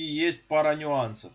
и есть пара нюансов